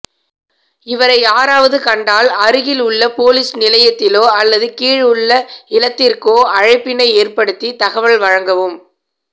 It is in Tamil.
இவரை யாராவது கண்டால் அருகில் உள்ள பொலிஸ் நிலையத்திலோ அல்லது கீழேயுள்ள இலத்திற்கோ அழைப்பினை ஏற்படுத்தி தகவல் வழங்கவும்